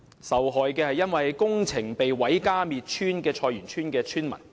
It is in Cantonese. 受害的，是因為工程而遭毀家滅村的菜園村村民。